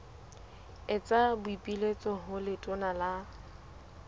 etsa boipiletso ho letona la